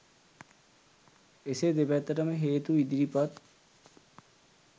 එසේ දෙපැත්තටම හේතු ඉදිරිපත්